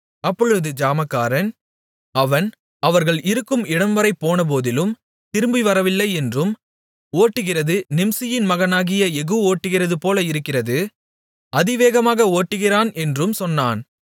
அப்பொழுது ஜாமக்காரன் அவன் அவர்கள் இருக்கும் இடம்வரை போனபோதிலும் திரும்பிவரவில்லை என்றும் ஓட்டுகிறது நிம்சியின் மகனாகிய யெகூ ஓட்டுகிறதுபோல இருக்கிறது அதிவேகமாக ஓட்டுகிறான் என்றும் சொன்னான்